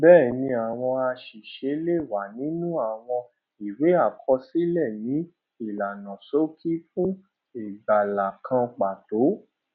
bẹẹni àwọn àṣìṣe lè wà nínú àwọn ìwé àkọsílẹ ni ìlànà ṣókí fún ìgbàlà kan pàtó